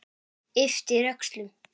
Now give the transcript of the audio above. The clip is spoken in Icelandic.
Ypptir öxlum.